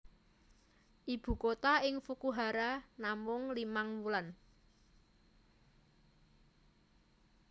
Ibu kota ing Fukuhara namung limang wulan